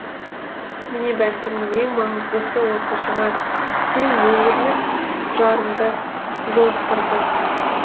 міне бәлкім ең маңыздысы осы шығар сен өмірлік жарыңды жолықтырдың